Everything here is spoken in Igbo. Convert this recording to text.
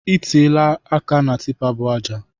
I tiela aka na tipa bu aja.